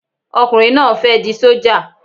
Ọkùnrin náà ń fẹ́ di sójà